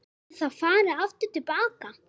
Verður farið aftur til baka?